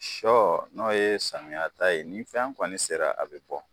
Sɔ n'o ye samiyata ye nin fɛn kɔni sera a be bɔ